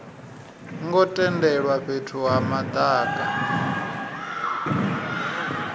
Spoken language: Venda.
ngo tendelwa fhethu ha madaka